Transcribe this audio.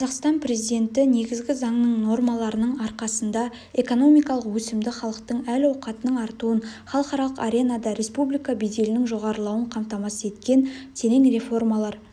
қазақстан президенті негізгі заңның нормаларының арқасында экономикалық өсімді халықтың әл-ауқатының артуын халықаралық аренада республика беделінің жоғарылауын қамтамасыз еткен терең реформалар